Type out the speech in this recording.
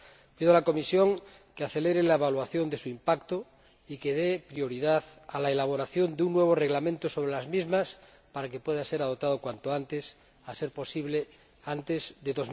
Pido a la Comisión que acelere la evaluación de su impacto y que dé prioridad a la elaboración de un nuevo reglamento sobre las mismas para que pueda ser adoptado cuanto antes, a ser posible antes de